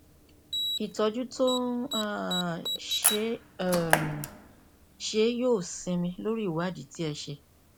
ìtọjú tó ń um ṣe é um ṣe é yóò sinmi lórí ìwádìí tí ẹ ṣe